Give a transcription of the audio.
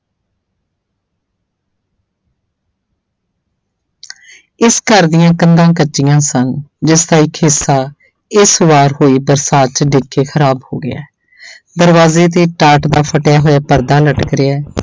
ਇਸ ਘਰ ਦੀਆਂ ਕੰਧਾਂ ਕੱਚੀਆਂ ਸਨ ਜਿਸਦਾ ਇੱਕ ਹਿੱਸਾ ਇਸ ਵਾਰ ਹੋਈ ਬਰਸਾਤ 'ਚ ਡਿੱਗ ਕੇ ਖ਼ਰਾਬ ਹੋ ਗਿਆ ਦਰਵਾਜ਼ੇ ਤੇ ਟਾਟ ਦਾ ਫਟਿਆ ਹੋਇਆ ਪਰਦਾ ਲਟਕ ਰਿਹਾ।